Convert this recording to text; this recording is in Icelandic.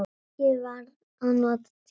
Ég var að nota tímann.